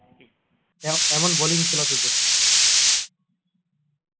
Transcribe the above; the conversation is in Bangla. এরম এমন bowling ছিল তোদের